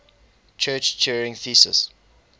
church turing thesis